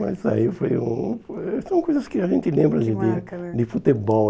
Mas aí foi um... foi... São coisas que a gente lembra de vida, que marca né, de futebol.